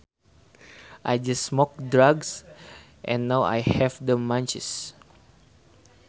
I just smoked drugs and now I have the munchies